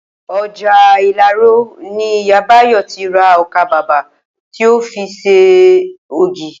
O̩jà Ìlaro ni Ìyá Báyò̩ ti ra o̩kàbabà tí ó fi s̩e ògì